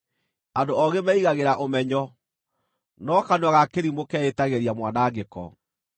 Andũ oogĩ meigagĩra ũmenyo, no kanua ga kĩrimũ keĩtagĩria mwanangĩko.